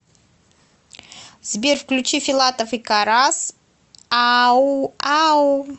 сбер включи филатов и карас ау ау